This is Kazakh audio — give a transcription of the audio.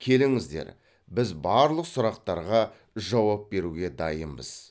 келіңіздер біз барлық сұрақтарға жауап беруге дайынбыз